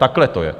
Takhle to je.